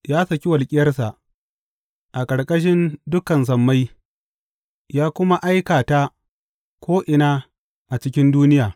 Ya saki walƙiyarsa, a ƙarƙashin dukan sammai ya kuma aika ta ko’ina a cikin duniya.